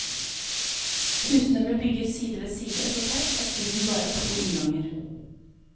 Husene ble bygget side ved side så tett at byen bare har to innganger.